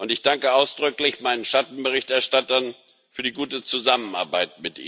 Ich danke ausdrücklich meinen Schattenberichterstattern für die gute Zusammenarbeit.